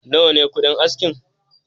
Nawa ne kuɗin askin?